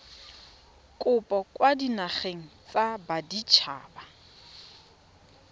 kopo kwa dinageng tsa baditshaba